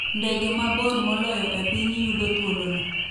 Ndege mabor moloyo e piny yudo thuolo no